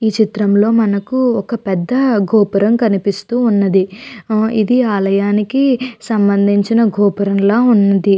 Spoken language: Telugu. ఈ చిత్రం లో మనకి ఒక పెద్ద గోపురం కనిపిస్తూ ఉన్నది ఇది ఆలయానికి సంబందించిన గోపురం లా ఉంది .